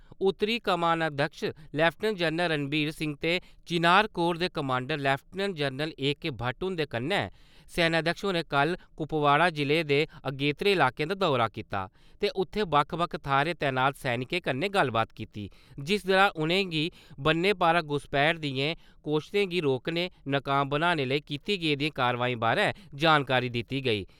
उत्तरी कमानाध्यक्ष lieutenant general Ranbir Singh ते चिनार कोर दे commander lieutenant general A K. Bhatt हुन्दे कन्नै सेनाध्यक्ष होरें कल कुपवाड़ा जिले दे अगेतत्रे इलाकें दा दौरा कीता ते उत्थैं बक्ख-बक्ख थाह्‌र तैनात सैनिकें कन्नै गल्लबात कीती जिस दौरान उ`नेंगी बन्ने पारा घुसपैठ दियें कोश्तें गी रोकने, नकाम बनाने लेई कीती गेदियें कारवाई बारै जानकारी दित्ती गेई।